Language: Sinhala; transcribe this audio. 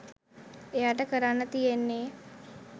එයාට කරන්න තියෙන්නේ